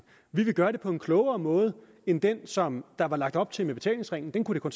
vi vil gøre det på en klogere måde end den som der var lagt op til med betalingsringen den kunne kunne